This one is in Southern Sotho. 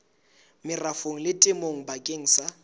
merafong le temong bakeng sa